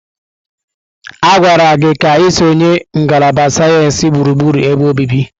A gwara gị ka ị sonyere ngalaba sayensị gburugburu ebe obibi!